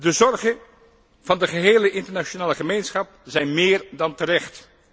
De zorgen van de gehele internationale gemeenschap zijn meer dan terecht.